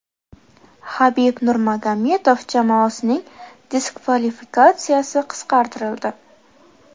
Habib Nurmagomedov jamoasining diskvalifikatsiyasi qisqartirildi.